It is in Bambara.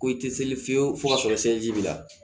Ko i tɛ seli fiyewu fo k'a sɔrɔ seliji b'i la